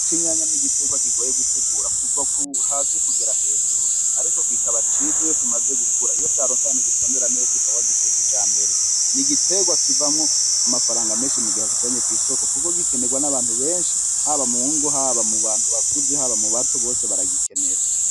Ikinyanya ni igitegwa kigoye gutegura kuva hasi kugera hejuru ariko kikaba ciza iyo kimaze gukura iyo caronse ahantu gitonera neza ukaba wagiteye kujambere ni igitegwa kivamo amafaranga menshi mugihe wakijanye kwisoko kuko gikenegwa nabantu benshi haba mungo haba mu bantu benshi ,haba mu bato bose baragikenera.